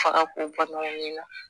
Faga kun bɛ bɔ min na